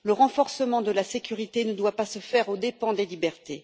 Le renforcement de la sécurité ne doit pas se faire aux dépens des libertés.